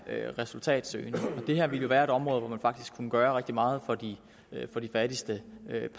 resultatsøgende det her ville være et område hvor man faktisk kunne gøre rigtig meget for de fattigste